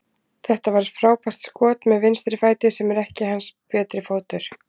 Þetta var frábært skot með vinstri fæti, sem er ekki hans betri fótur.